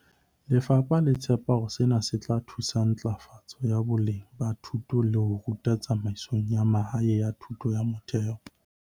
Lefapha le tshepa hore sena se tla thusa ntlafatsong ya boleng ba ho ithuta le ho ruta tsamaisong ya mahaeng ya thuto ya motheo.